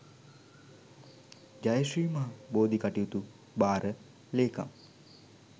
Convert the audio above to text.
ජය ශ්‍රී මහ බෝධි කටයුතු භාර ලේකම්.